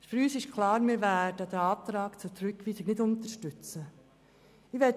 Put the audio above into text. Für uns ist klar, dass wir den Antrag auf Rückweisung nicht unterstützen werden.